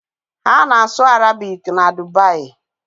Ha na-asụ Arabik na Dubai.